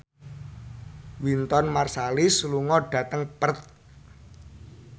Wynton Marsalis lunga dhateng Perth